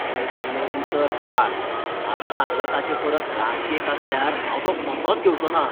तुवें दिल्लें उतर पाळ. हांवें सांगला ताचेपरस ल्हान केक आसल्यार हांव तो कसोच घेवचो ना .